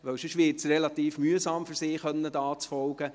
Ansonsten würde es für sie relativ mühsam, zu folgen.